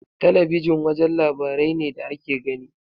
Talabijin wajen labarai ne da ake gani.